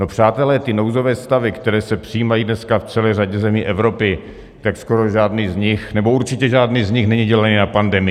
No, přátelé, ty nouzové stavy, které se přijímají dneska v celé řadě zemí Evropy, tak skoro žádný z nich, nebo určitě žádný z nich není dělaný na pandemii.